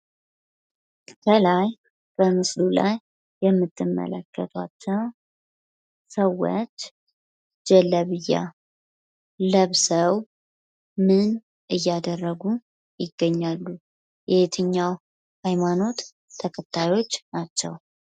ከላይ በምስሉ ላይ የምትመለከቷቸው ሰዎች ጀለብያ ለብሰው ምን እያደረጉ ይገኛሉ? የየትኛው አይነት ሃይማኖት ተከታዮች ናቸው?